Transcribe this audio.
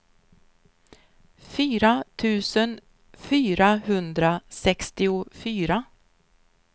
fyra tusen fyrahundrasextiofyra